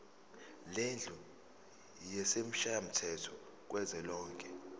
lendlu yesishayamthetho kuzwelonke